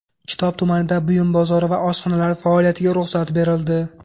Kitob tumanida buyum bozori va oshxonalar faoliyatiga ruxsat berildi.